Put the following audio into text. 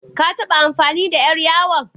Ka taɓa amfani da ƴar yawon?